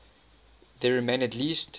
there remain at least